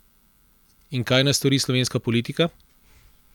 In kaj naj stori slovenska politika?